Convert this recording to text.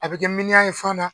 A bi kɛ miniyan yefan na.